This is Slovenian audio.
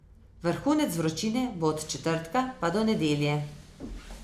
Vrhunec vročine bo od četrtka pa do nedelje.